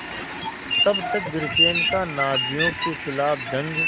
तब तक ब्रिटेन का नाज़ियों के ख़िलाफ़ जंग